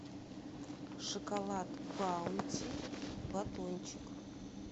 шоколад баунти батончик